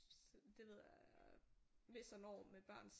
Det ved jeg hvis og når med børn